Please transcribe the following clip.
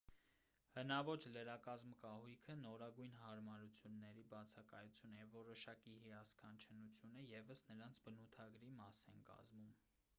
հնաոճ լրակազմ կահույքը նորագույն հարամարությունների բացակայությունը և որոշակի հիասքանչ հնությունը ևս նրանց բնութագրի մաս են կազմում